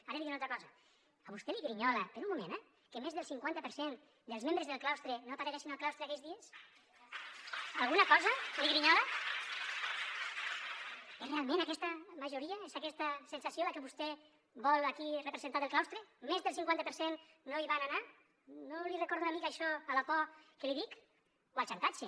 ara li diré una altra cosa a vostè li grinyola per un moment eh que més del cinquanta per cent dels membres del claustre no apareguessin al claustre aquells dies alguna cosa li grinyola és realment aquesta majoria és aquesta sensació la que vostè vol aquí representar del claustre més del cinquanta per cent no hi van anar no li recorda una mica això a la por que li dic o al xantatge